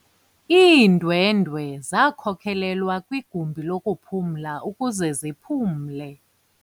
Iindwendwe zakhokelelwa kwigumbi lokuphumla ukuze ziphumle.